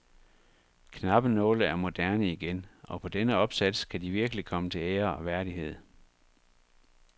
Knappenåle er moderne igen, og på denne opsats kan de virkelig komme til ære og værdighed.